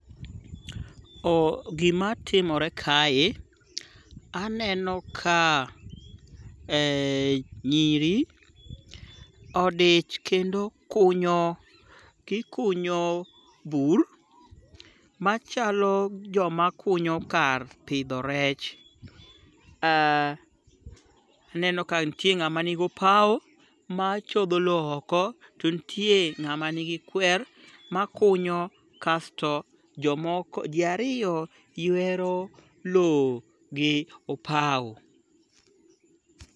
O gimatimore kae, aneno ka nyiri odich kendo kunyo gikunyo bur machalo joma kunyo kar pidho rech. Aneno ka nitie ng'ama nigopao machodho lo oko to ntie ng'ama nigi kwer makunyo kasto jomoko ji ariyo ywero lowo gi opao.